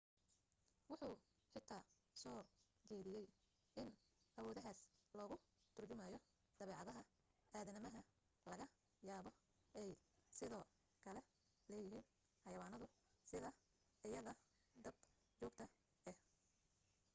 wuxu xitaa soo jeediyay in awoodahaas lagu turjumayo dabeecadaha aadamaha laga yaabo ay sidoo kale leeyihiin xayawaanadu sida ayda dab joogta ah